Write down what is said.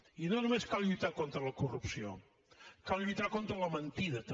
i no només cal lluitar contra la corrupció cal lluitar contra la mentida també